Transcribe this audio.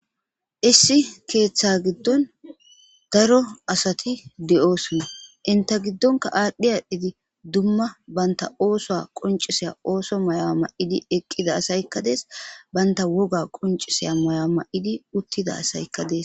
Issi ketha gidon daro asati de,osona inte gigonka adhi adhidi duma duma banta osuwa qonc,isiya mayo mayidi eqida asayika de,ees banta woga qonc,isiya mayo mayidi utida asayika de,ees